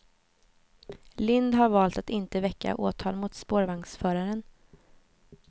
Lind har valt att inte väcka åtal mot spårvagnsföraren.